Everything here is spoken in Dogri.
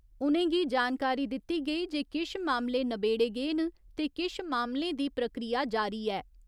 उ'नेंगी जानकारी दित्ती गेई जे किश मामले नबेड़े गे न ते किश मामलें दी प्रक्रिया जारी ऐ।